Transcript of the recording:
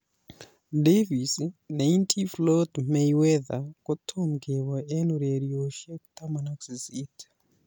Davis ne inti Floyd Mayweather kotom keboi en ureriosiek 18.